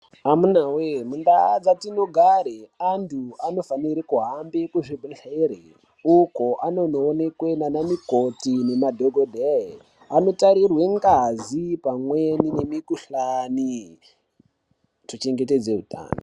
Amunawe mundau dzatino gare antu anofanire kuhambe ku zvibhedhleri uko anono onekwe nana mukoti nema dhokodheye ano tarirwe ngazi pamweni ne mikuhlani ku chengetedze hutano.